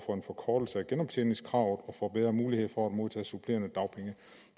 for en forkortelse af genoptjeningskravet og for bedre muligheder for at modtage supplerende dagpenge